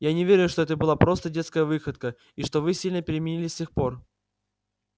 я не верю что это была просто детская выходка и что вы сильно переменились с тех пор